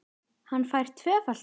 Hann fær tvöfalt eðli.